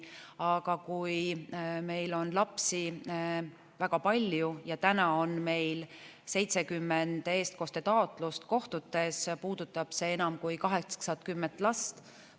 Aga kui meil on lapsi väga palju, praegu on meil 70 eestkostetaotlust kohtutes, siis puudutab see enam kui 80 last.